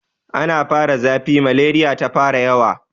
Ana fara zafi, maleriya ta fara yawa.